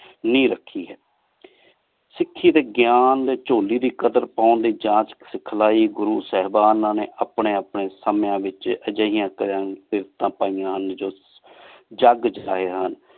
ਬੁਨ੍ਯਾਦ ਰਖੀ ਹੈ ਸਿਖੀ ਡੀ ਗਾਯਨ ਡੀ ਚੋਲੀ ਦੀ ਕਾਦਰ ਪਾਨ ਦੀ ਜਾਂਚ ਸਿਖਲਾਈ ਗੁਰੂ ਸਾਹੇਬਾਨਾ ਨੀ ਅਪਨੀ ਅਪਨੀ ਸੰਯ ਵਿਚ ਏਹੋ ਜਿਯਾੰ ਪੈਯਾਂ ਹਨ ਜੱਗ ਜਹੀ ਹਨ